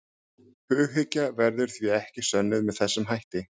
Hughyggja verður því ekki sönnuð með þessum hætti.